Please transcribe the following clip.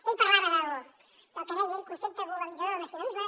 ell parlava del que deia ell concepte globalitzador del nacionalisme